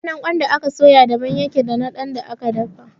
Ɗanɗanon ƙwan da aka soya daban ya ke da na ƙwan da aka dafa